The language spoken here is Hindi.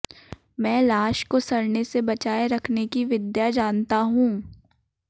मैं लाश को सड़ने से बचाए रखने कि विद्या जानता हूं